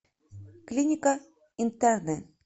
клиника интерны